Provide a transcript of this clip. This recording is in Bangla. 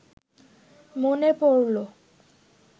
মনে পড়ল